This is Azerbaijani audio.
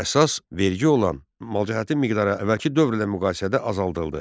Əsas vergi olan malcəhətin miqdarı əvvəlki dövrlə müqayisədə azaldıldı.